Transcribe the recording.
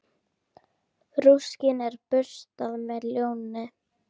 Rúskinn er burstað með lónni.